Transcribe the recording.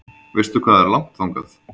Veistu hvað er langt þangað?